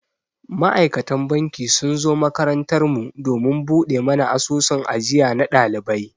Ma'aikatan banki sun zo makarantar mu domin buɗe mana asusun ajiya na ɗalibai.